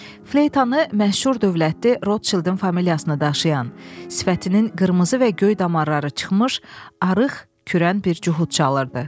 Fleytanı məşhur dövlətli Rotchildin familiyasını daşıyan, sifətinin qırmızı və göy damarları çıxmış, arıq, kürən bir cuhud çalırdı.